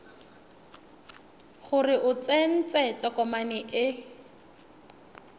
gore o tsentse tokomane e